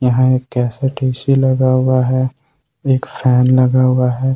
यहां एक cassette AC लगा हुआ है एक फैन लगा हुआ है।